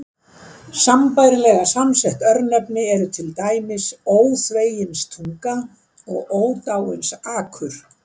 Sambærilega samsett örnefni eru til dæmis Óþveginstunga og Ódáinsakur.